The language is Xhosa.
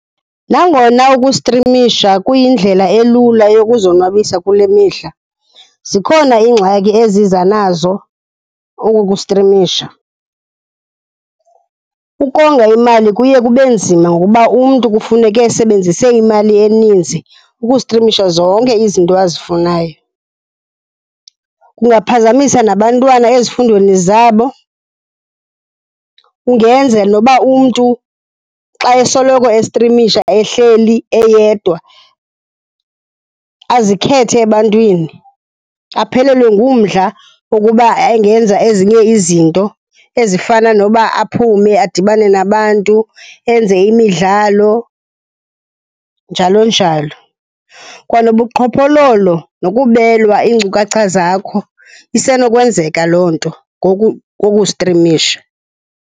Nangona ukustrimisha kuyindlela elula yokuzonwabisa kule mihla, zikhona iingxaki eziza nazo oku kustrimisha. Ukonga oyimali kuye kube nzima ngoba umntu kufuneke esebenzise imali eninzi ukustrimisha zonke izinto azifunayo, kungaphazamisa nabantwana ezifundweni zabo. Kungenza nokuba umntu xa esoloko estrimisha ehleli eyedwa, azikhethe ebantwini, aphelelwe ngumdla wokuba angenza nezinye izinto ezifana noba aphume adibane nabantu, enze imidlalo, njalo njalo. Kwanobuqhophololo nokubelwa iinkcukacha zakho, isenokwenzeka loo nto kukustrimisha.